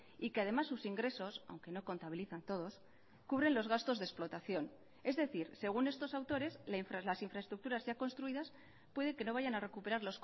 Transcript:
y que además sus ingresos aunque no contabilizan todos cubren los gastos de explotación es decir según estos autores las infraestructuras ya construidas puede que no vayan a recuperar